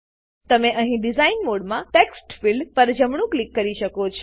તમે અહીં ડીઝાઇન મોડમાં ટેક્સ્ટફિલ્ડ ટેક્સ્ટફિલ્ડ પર પણ જમણું ક્લિક કરી શકો છો